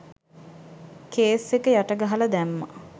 Case එක යට ගහල දැම්මා.